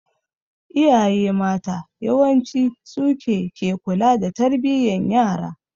Iyaye mata yawanci suke ke kula da tarbiyan yara.